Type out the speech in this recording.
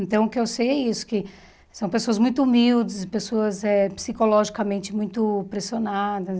Então, o que eu sei é isso, que são pessoas muito humildes, pessoas eh psicologicamente muito pressionadas.